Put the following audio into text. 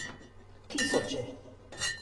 Tisoče.